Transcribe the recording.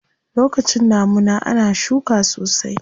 Lokacin damuna ana shuka sosai.